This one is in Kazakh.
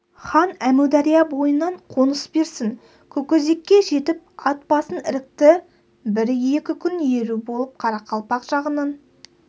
хан әмудария бойынан қоныс берсін көкөзекке жетіп ат басын ірікті бір-екі күн еру болып қарақалпақ жағынан